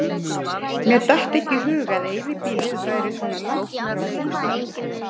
Mér datt ekki í hug að eyðibýlið væri svona langt frá bústaðnum.